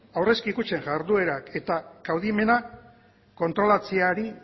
aurrezki kutxen jarduera eta kaudimena kontrolatzeari